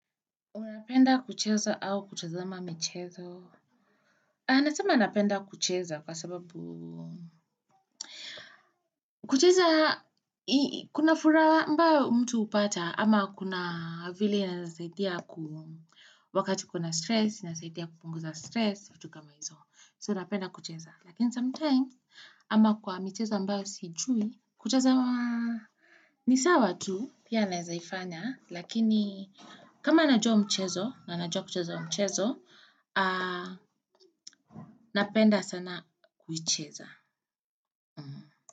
Unapenda kucheza au kutazama mchezo? Anasema anapenda kucheza kwa sababu kucheza, kuna furaha ambayo mtu hupata ama kuna vile inasaidia wakati kuna stress, inasaidia kupunguza stress, vitu kama hizo. So napenda kucheza. And sometimes, ama kwa mchezo ambayo sijui, kucheza wa ni sawa tu. Pia nawezaifanya, lakini kama najua mchezo, na najua kucheza mchezo, napenda sana kuicheza.